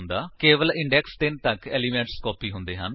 ਕੇਵਲ ਇੰਡੇਕਸ 3 ਤੱਕ elements copy ਹੁੰਦੇ ਹਨ